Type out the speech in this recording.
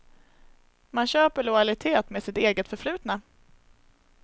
Man köper lojalitet med sitt eget förflutna.